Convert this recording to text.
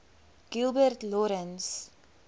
gilbert lawrence